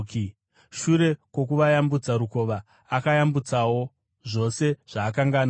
Shure kwokuvayambutsa rukova, akayambutsawo zvose zvaakanga anazvo.